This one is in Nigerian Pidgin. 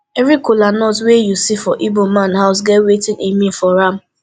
evri kolanut wey yu see for igboman house get wetin e mean for am